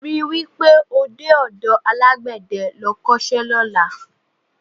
Rí i wí pé o dé ọ̀dọ alágbẹ̀dẹ́ lọ kọ́ṣẹ́ lọ́la